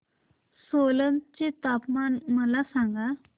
सोलन चे तापमान मला सांगा